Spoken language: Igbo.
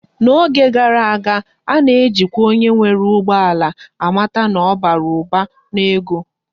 N'oge gara aga, a na ejikwa onye nwere ugbo ala amata na obara Uba na ego